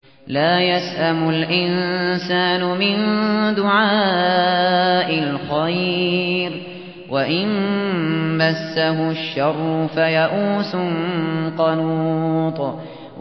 لَّا يَسْأَمُ الْإِنسَانُ مِن دُعَاءِ الْخَيْرِ وَإِن مَّسَّهُ الشَّرُّ فَيَئُوسٌ قَنُوطٌ